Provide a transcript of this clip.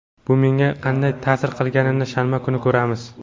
Bu menga qanday ta’sir qilganini shanba kuni ko‘ramiz.